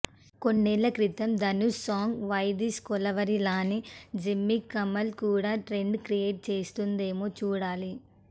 కొన్నేళ్ల క్రితం Dhanush song why this Kolaveri లానే జిమ్మిక్కి కమల్ కూడా ట్రెండ్ క్రియేట్ చేస్తుందేమో చూడాలి